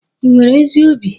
Ị nwere ezi obi?